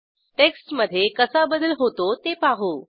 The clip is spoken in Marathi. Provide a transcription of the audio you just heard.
टेक्स्टमधे कसा बदल होतो ते पाहू